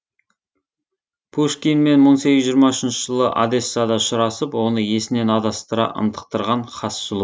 пушкинмен мың сегіз жүз жиырма үшінші жылы одессада ұшырасып оны есінен адастыра ынтықтырған хас сұлу